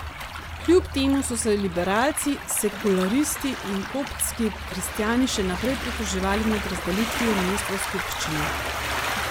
Kljub temu so se liberalci, sekularisti in koptski kristjani še naprej pritoževali nad razdelitvijo mest v skupščini.